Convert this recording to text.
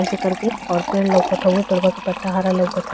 ऐसे कर के और पेड़ लउकत हउवे। पेड़वा क पत्ता हरा लउकत ह --